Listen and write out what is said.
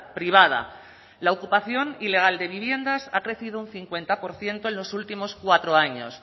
privada la ocupación ilegal de viviendas ha crecido un cincuenta por ciento en los últimos cuatro años